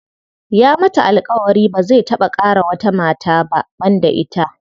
Ya mata alƙawari ba zai taɓa ƙara wata mata ba banda ita.